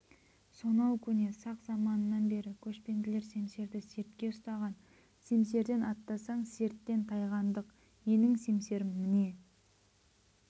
сонау көне сақ заманынан бері көшпенділер семсерді сертке ұстаған семсерден аттасаң серттен тайғандық менің семсерім мына